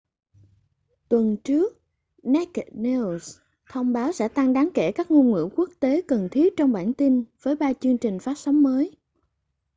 tuần trước naked news thông báo sẽ tăng đáng kể các ngôn ngữ quốc tế cần thiết trong bản tin với ba chương trình phát sóng mới